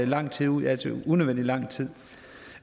lang tid ud altså unødvendig lang tid